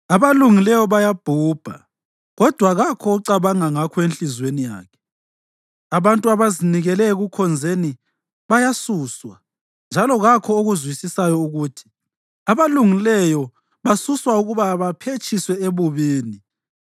Abalungileyo bayabhubha, kodwa kakho ocabanga ngakho enhliziyweni yakhe. Abantu abazinikele ekukhonzeni bayasuswa, njalo kakho okuzwisisayo ukuthi abalungileyo basuswa ukuba baphetshiswe ebubini.